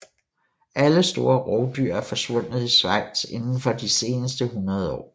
Alle store rovdyr er forsvundet i Schweiz indenfor de seneste hundreder år